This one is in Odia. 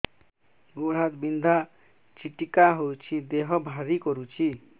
ଗୁଡ଼ ହାତ ବିନ୍ଧା ଛିଟିକା ହଉଚି ଦେହ ଭାରି କରୁଚି